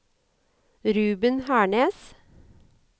Ruben Hernes